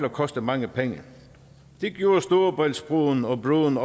at koste mange penge det gjorde storebæltsbroen og broen